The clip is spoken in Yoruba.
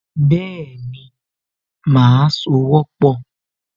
Bẹ́ẹ̀ni, màá sowọ́pọ̀